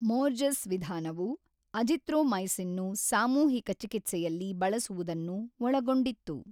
ಮೋರ್ಜಸ್ ವಿಧಾನವು ಅಜಿಥ್ರೊಮೈಸಿನ್‌ನ್ನು ಸಾಮೂಹಿಕ ಚಿಕಿತ್ಸೆಯಲ್ಲಿ ಬಳಸುವುದನ್ನು ಒಳಗೊಂಡಿತ್ತು.